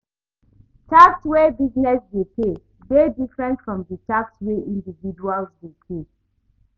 Tax wey business dey pay de dey different from di tax wey individuals dey pay